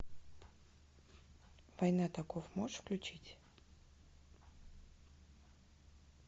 война таков можешь включить